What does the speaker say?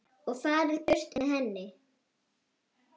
og farið burt með henni.